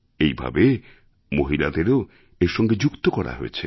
এইভাবে মহিলাদেরও এর সঙ্গে যুক্ত করা হয়েছে